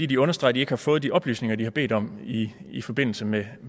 de understreger at de ikke har fået de oplysninger de har bedt om i i forbindelse med